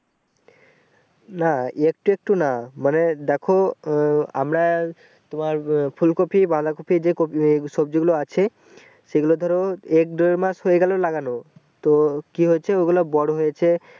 না একটু একটু না মানে দেখো উম আমরা তোমার ফুলকপি বাঁধাকপি যে কপি সবজি গুলো আছে সেগুলো ধরো একদুই মাস হয়ে গেলো লাগানো তো কি হয়েছে ওগুলো বড়ো হয়েছে ।